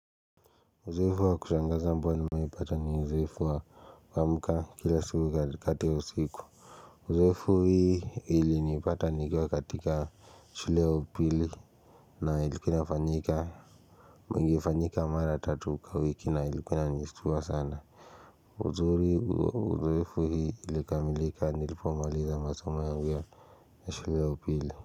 Uzoefu wa kushangaza ambao nimewahi pata ni uzoefu wa kuamka kila siku katikati wa siku Uzoefu hii ilinipata nikiwa katika shule ya upili na ilikuwa inafanyika ingefanyika mara tatu kwa wiki na ilikuwa inanistua sana Uzoefu hii ilikamilika nilipomaliza masomo yangu ya shule ya upili.